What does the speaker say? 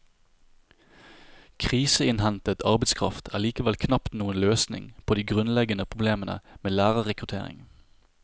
Kriseinnhentet arbeidskraft er likevel knapt noen løsning på de grunnleggende problemene med lærerrekruttering.